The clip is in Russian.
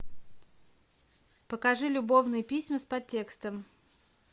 покажи любовные письма с подтекстом